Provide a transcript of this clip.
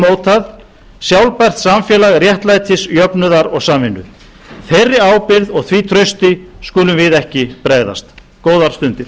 mótað sjálfbært samfélag réttlætis jöfnuðar og samvinnu þeirri ábyrgð og því trausti skulum við ekki bregðast góðar stundir